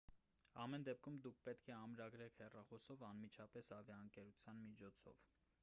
ամեն դեպքում դուք պետք է ամրագրեք հեռախոսով անմիջապես ավիաընկերության միջոցով